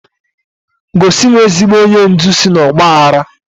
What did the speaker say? Gosi m ezigbo onye ndu si n'ọgba aghara!